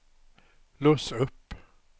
lås upp